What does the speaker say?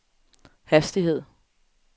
hastighed